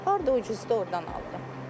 Harda ucuzdur ordan alıram.